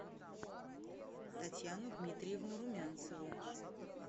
татьяну дмитриевну румянцеву